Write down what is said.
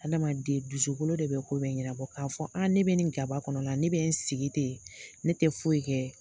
Adamaden dusukolo de be ko bɛ ɲɛnabɔ k'a fɔ a ne be nin gaba kɔnɔ na ne be n sigi ten ne te foyi kɛ